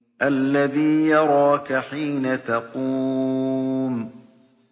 الَّذِي يَرَاكَ حِينَ تَقُومُ